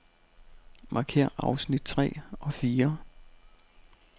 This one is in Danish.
Markér afsnit tre og fire.